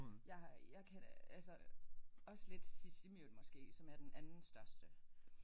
Jeg har jeg kan da altså også lidt Sisimiut måske som er den andenstørste